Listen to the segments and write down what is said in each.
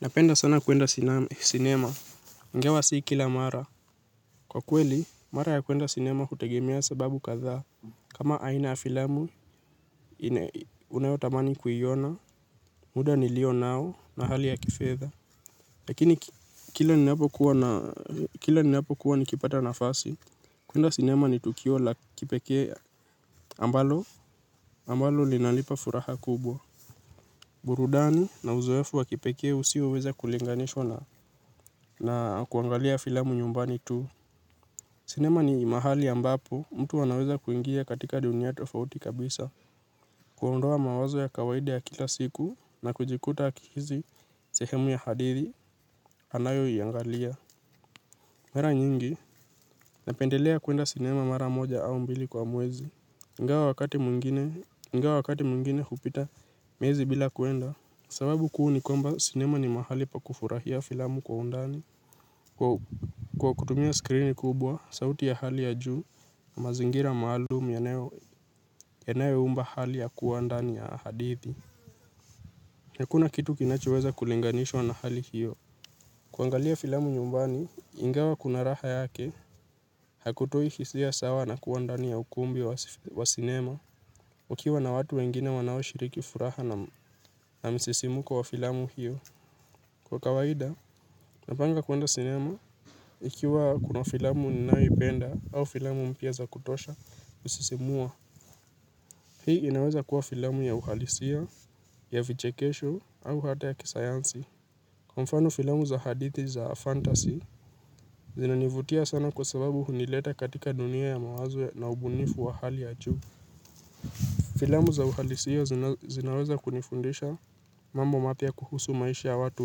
Napenda sana kwenda sinema. Ingawa si kila mara. Kwa kweli, mara ya kwenda sinema hutegemea sababu kadhaa. Kama aina ya filamu, unayotamani kuiona. Muda nilio nao na hali ya kifedha. Lakini, kila ninapo kuwa nikipata nafasi, kwenda sinema ni tukio la kipekee ambalo. Ambalo linanipa furaha kubwa burudani na uzoefu wakipekee usioweza kulinganishwa na kuangalia filamu nyumbani tu. Sinema ni mahali ambapo mtu anaweza kuingia katika dunia tofauti kabisa. Kuondoa mawazo ya kawaidi ya kila siku na kujikuta akihisi sehemu ya hadithi anayo iangalia. Mara nyingi napendelea kwenda sinema mara moja au mbili kwa mwezi ingawa wakati mwingine hupita miezi bila kwenda, sababu kuu ni kwamba sinema ni mahali pa kufurahia filamu kwa undani kwa kutumia skrini kubwa, sauti ya hali ya juu na mazingira maalumu yanayo umba hali ya kuwa ndani ya hadithi. Hakuna kitu kinachoweza kulinganishwa na hali hiyo. Kuangalia filamu nyumbani, ingawa kuna raha yake, hakutoi hisia sawa na kuwa ndani ya ukumbi wa sinema mkiwa na watu wengine wanao shiriki furaha na msisimko wa filamu hiyo. Kwa kawaida, napanga kwenda sinema ikiwa kuna filamu ninayoipenda au filamu mpya za kutosha kusisimua. Hii inaweza kuwa filamu ya uhalisia, ya vichekesho, au hata ya kisayansi. Kwa mfano filamu za hadithi za fantasy zinanivutia sana kwa sababu hunileta katika dunia ya mawazo na ubunifu wa hali juu. Filamu za uhalisia zinaweza kunifundisha mambo mapya kuhusu maishi ya watu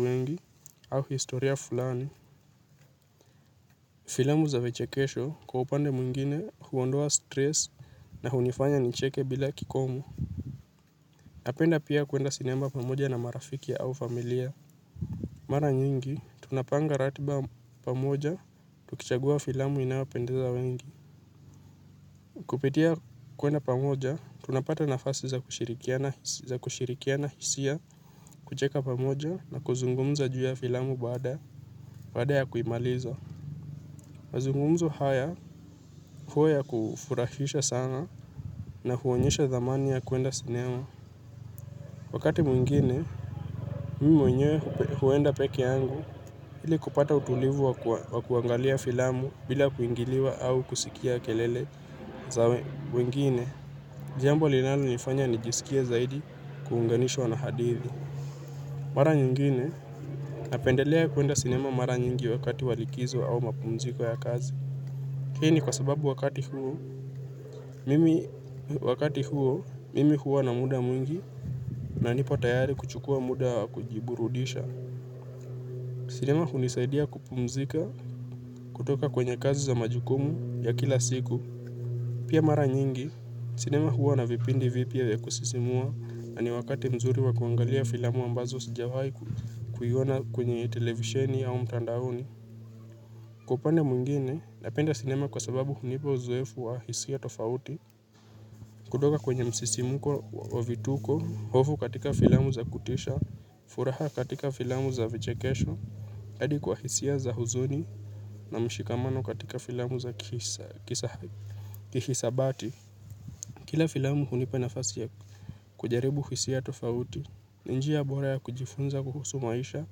wengi au historia fulani filamu za vichekesho kwa upange mwingine huondoa stress na hunifanya nicheke bila kikomo napenda pia kwenda sinema pamoja na marafiki au familia. Mara nyingi, tunapanga ratiba pamoja, tukichagua filamu inayopendeza wengi. Kupitia kwenda pamoja, tunapata nafasi za kushirikiana hisia, kucheka pamoja na kuzungumza juu ya filamu baada ya kuimaliza. Mazungumzo haya huwa ya kufurahisha sana na huonyesha dhamani ya kwenda sinema. Wakati mwingine, mimi mwenyewe huenda pekee yangu ili kupata utulivu wa kuangalia filamu bila kuingiliwa au kusikia kelele za wengine. Jambo linalo nifanya ni jisikie zaidi kuunganishwa na hadithi. Mara nyingine napendelea kwenda sinema mara nyingi wakati wa likizo au mapumziko ya kazi. Hii ni kwa sababu wakati huu, mimi wakati huo, mimi huwa na muda mwingi, na nipo tayari kuchukua muda kujiburudisha. Sinema hunisaidia kupumzika kutoka kwenye kazi za majukumu ya kila siku. Pia mara nyingi, sinema huwa na vipindi vipya ya kusisimua na ni wakati mzuri wa kuangalia filamu ambazo sijawaikuiona kwenye televisheni au mtandaoni. Kwa upande mwingine, napenda sinema kwa sababu hunipa uzoefu wa hisia tofauti. Kutoka kwenye msisimko wa vituko, hofu katika filamu za kutisha, furaha katika filamu za vichekesho, hadi kwa hisia za huzuni na mshikamano katika filamu za kihisabati. Kila filamu hunipa nafasi ya kujaribu hisia tofauti, ni njia bora ya kujifunza kuhusu maisha,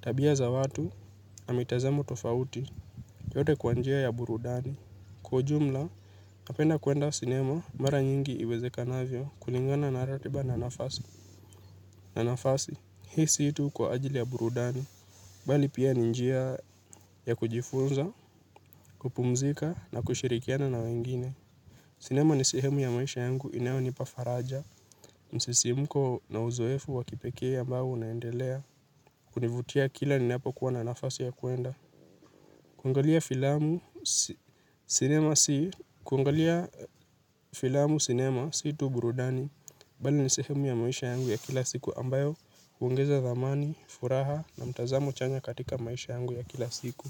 tabia za watu, na mitazamo tofauti, yote kwa njia ya burudani. Kwa ujumla, napenda kwenda sinema, mara nyingi iwezekanavyo kulingana na ratiba na nafasi. Na nafasi, hii si tu kwa ajili ya burudani. Bali pia ni njia ya kujifunza, kupumzika na kushirikiana na wengine. Sinema ni sehemu ya maisha yangu, inayo nipa faraja. Msisimko na uzoefu wa kipekee ambao unaendelea. Kunivutia kila ninapo kuwa na nafasi ya kwenda. Kwangalia filamu kuangalia filamu cinema si tu burudani bali ni sehemu ya maisha yangu ya kila siku ambayo huongeza dhamani, furaha na mtazamo chanya katika maisha yangu ya kila siku.